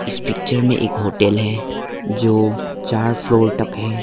इस पिक्चर में एक होटल है जो चार फ्लोर तक है।